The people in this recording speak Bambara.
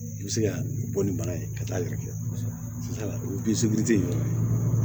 I bɛ se ka bɔ ni bana ye ka taa yɛrɛ kɛ o